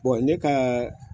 ne ka